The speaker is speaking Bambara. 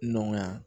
Nɔgɔya